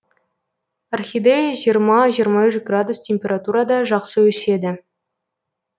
орхидея жиырма жиырма үш градус температурада жақсы өседі